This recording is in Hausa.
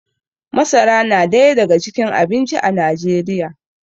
masara na daya daga cikin abinci a najeriya